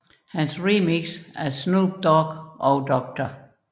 Hans remix af Snoop Dogg og Dr